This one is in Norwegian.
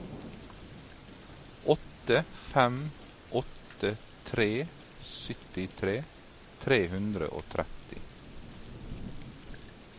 åtte fem åtte tre syttitre tre hundre og tretti